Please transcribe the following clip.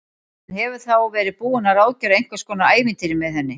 Hann hefur þá verið búinn að ráðgera einhvers konar ævintýri með henni!